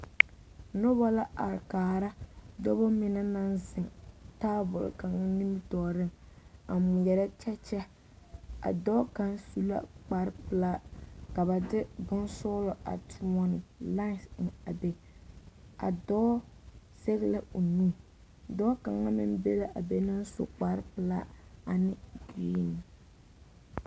Noba la are kaara dɔbɔ mine naŋ zeŋ taabol kaŋa nimitɔɔreŋ a ŋmeɛrɛ kyɛkyɛ, a dɔɔ kaŋ su la kpare pelaa ka ba de bonsɔɔlɔ a toɔne lãɛse eŋ a be, a dɔɔ zɛge la o nu, dɔɔ kaŋ meŋ be la be a meŋ su kpare pelaa ane kuree.